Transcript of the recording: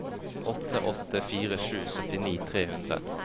åtte åtte fire sju syttini tre hundre